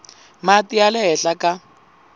mati ya le henhla ka